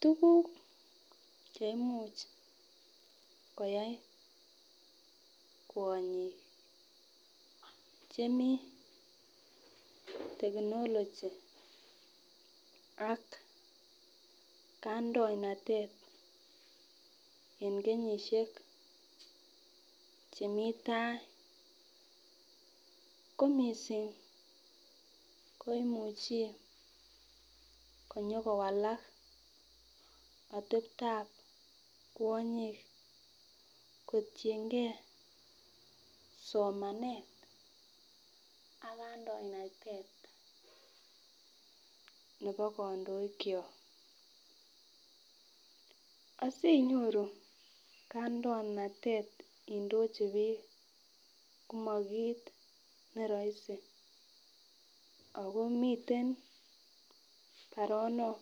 Tukuk cheimuch koyai kwonyik chemii technology ak kandoinatet en kenyishek chemii tai ko missing koimuchi konyokowalak oteptan kwonyik kotiyengee somanet ak kandoinatet nebo kondoik kyok asinyon kandoinat Indochi bik komokit neroisei ako miten baronok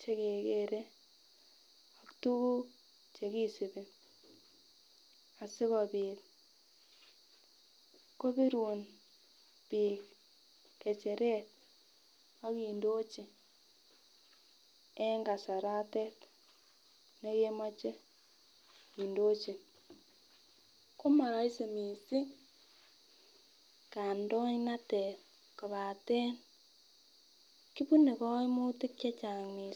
chekekere tukuk chekisibi asikopit kopirun bik ngecheret ak Indochi en kasarotet nekemoche Indochi. Ko moroisi missing kandoinatet kopaten kibune koimutik chechang missing.